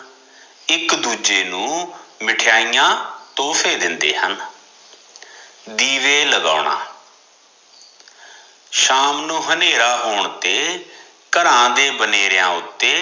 ਇੱਕ ਦੂਜੇ ਨੂੰ ਮਿਠਾਈਆਂ ਤੋਹਫੇ ਦਿੰਦੇ ਹਨ ਦੀਵੇ ਲਗਾਉਣਾ ਸ਼ਾਮ ਨੂੰ ਹਨੇਰਾ ਹੋਣ ਤੇ ਘਰਾਂ ਦੇ ਬਨੇਰਿਆ ਉੱਤੇ